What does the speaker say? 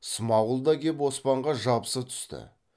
смағұл да кеп оспанға жабыса түсті